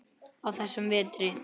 á þessum vetri.